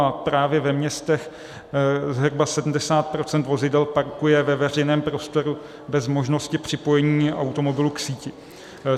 A právě ve městech zhruba 70 % vozidel parkuje ve veřejném prostoru bez možnosti připojení automobilu k síti.